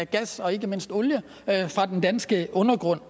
gas og ikke mindst olie fra den danske undergrund